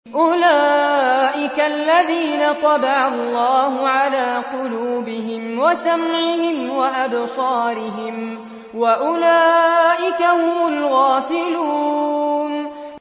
أُولَٰئِكَ الَّذِينَ طَبَعَ اللَّهُ عَلَىٰ قُلُوبِهِمْ وَسَمْعِهِمْ وَأَبْصَارِهِمْ ۖ وَأُولَٰئِكَ هُمُ الْغَافِلُونَ